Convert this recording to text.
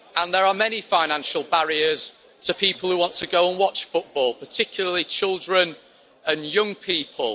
There are many financial barriers to people who want to go and watch football, particularly children and young people.